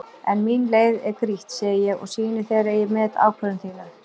En mín leið er grýtt, segi ég og sýni þér að ég met ákvörðun þína.